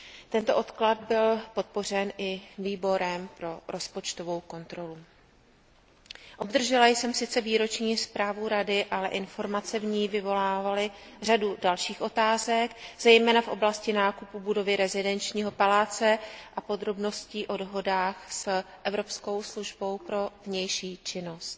Tento odklad byl podpořen i Výborem pro rozpočtovou kontrolu. Obdržela jsem sice výroční zprávu Rady, ale informace v ní vyvolávaly řadu dalších otázek, zejména v oblasti nákupu budovy rezidenčního paláce a podrobností o dohodách s evropskou službou pro vnější činnost.